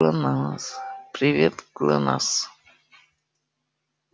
глонассс привет глонассс